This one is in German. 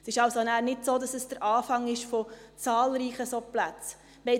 Es ist also nicht so, dass das der Auftakt zu zahlreichen solchen Plätzen ist.